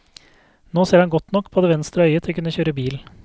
Nå ser han godt nok på det venstre øyet til å kunne kjøre bil.